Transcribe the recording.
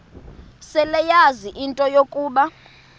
seleyazi into yokuba